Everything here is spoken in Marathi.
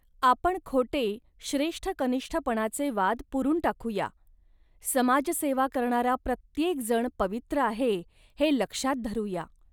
आपण खोटे श्रेष्ठकनिष्ठपणाचे वाद पुरून टाकू या. समाजसेवा करणारा प्रत्येक जण पवित्र आहे, हे लक्षात धरू या